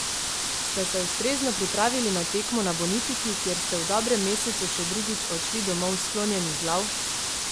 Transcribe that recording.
Ste se ustrezno pripravili za tekmo na Bonifiki, kjer ste v dobrem mesecu še drugič odšli domov sklonjenih glav?